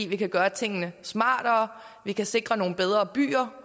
vi kan gøre tingene smartere vi kan sikre nogle bedre byer